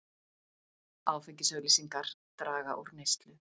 Áfengisauglýsingar draga úr neyslu